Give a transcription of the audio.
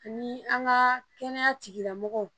Ani an ka kɛnɛya tigilamɔgɔw